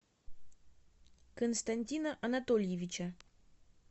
константина анатольевича